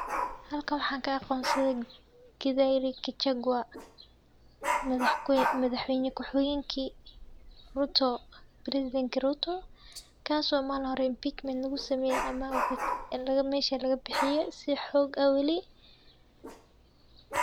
Halkan waxa kaaqonsade Rigathi Gachagua madaxweyne kuxuenki ruto kaiso Malin hore impeachment lugusameye ama Meesha lagabixiye sii xog ah Wali.